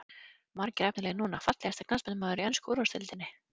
Margir efnilegir núna Fallegasti knattspyrnumaðurinn í ensku úrvalsdeildinni?